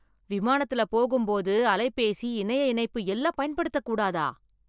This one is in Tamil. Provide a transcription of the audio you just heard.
விமானத்துல போகும் போது அலைபேசி, இணைய இணைப்பு எல்லாம் பயன்படுத்தக் கூடாதா?